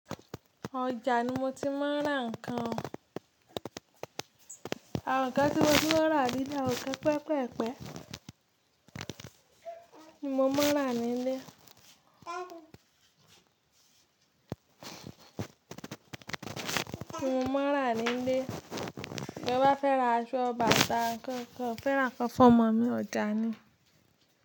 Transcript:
Ọjà ni mo ti máa ń rà nǹkan. Àwọn nǹkan tí mo ti máa ń rà nílé, àwọn nǹkan pẹpẹ pẹpẹ ni mo máa ń rà nílé. Mo máa ń rà nílé. To bá fẹ́ ra aṣọ, bàtà, kànkàn, fẹ́ ra nnkan fomọ̀ mí ni ọjà ni.